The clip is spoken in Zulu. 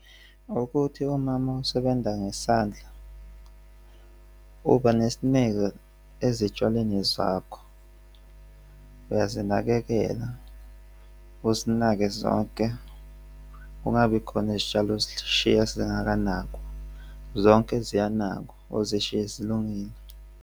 Ukuthi umama osebenza ngesandla, uba nesineke ezitshalweni zakho uyazinakekela uzinake zonke, kungabi khona izitshalo ozishiya zingakanakwa, zonke ziyanakwa, uzishiye zilungile.